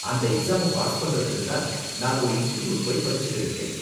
அந்த எக்ஸாம பாஸ் பண்றதுக்கு தான் நான் ஒரு இன்ஸ்ட்டிட்யூட் போய் படிச்சுட்டு இருக்கேன்.